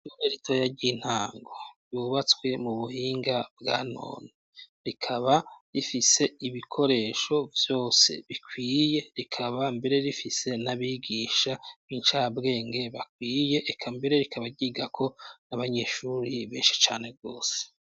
Ishure ritoya ry'intango yubatswe mu buhinga bwa none, rikaba rifise ibikoresho vyose bikwiye rikaba mbere rifise n'abigisha b'incabwenge bakwiye eka mbere rikaba ryigako n'abanyeshuri benshi cane gose.